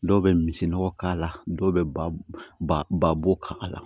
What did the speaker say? Dɔw bɛ misi nɔgɔ k'a la dɔw bɛ ba ba bo k'a la